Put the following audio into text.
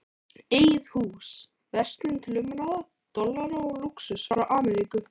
Eigið hús, verslun til umráða, dollara og lúxus frá Ameríku.